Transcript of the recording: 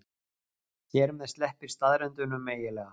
Hér með sleppir staðreyndunum eiginlega.